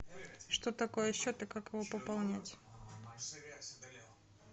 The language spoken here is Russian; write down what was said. что такое счет и как его пополнять